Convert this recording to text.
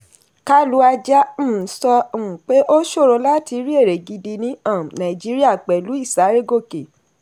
kalu aja um sọ um pé ó ṣòro láti rí èrè gidi ní um nàìjíríà pẹ̀lú ìsárégòkè.